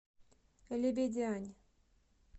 лебедянь